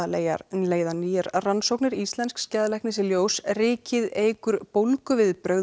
leiða nýjar rannsóknir íslensks geðlæknis í ljós rykið eykur